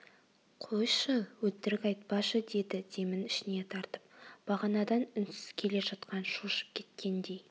қойшы өтірік айтпашы деді демін ішіне тартып бағанадан үнсіз келе жатқан шошып кеткендей